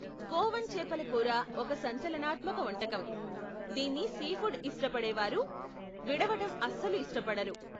గోవన్ చేపల కూర ఒక సంచలనాత్మక వంటకం, దీన్ని సీఫుడ్ ఇష్టపడేవారు విడవటం అస్సలు ఇష్టపడరు.